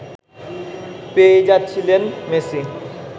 পেয়েই যাচ্ছিলেন মেসি